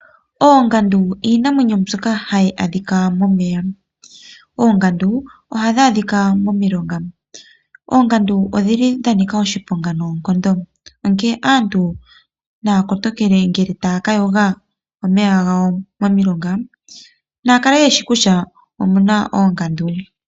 Oongandu iinamwenyo mbyoka hayi adhika momeya. Oongandu ohadhi adhika momilonga. Oongandu odhili dhanika oshipong noonkondo onkene aantu naya kotoke ngele taya ka yoga momeya gawo momilonga Naya kale yeshi kutya omuna oongandu.